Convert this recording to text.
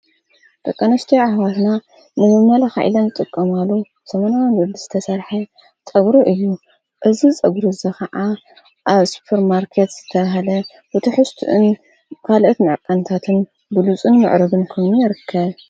በቐነሽተይ ኣኅዋትና ንምመለ ኃዒላን ዝጥቀማሉ ሰመናዊን በሊ ዝተሰርሐ ጠግሮ እዩ እዝ ጸጕሪዘ ኸዓ ኣብ ስጰር ማርከት ዝተሃለ ብቲሕስትእን ኻልእት መዐቃንታትን ብሉፁን ምዕረግን ከምኑ ይርከብ።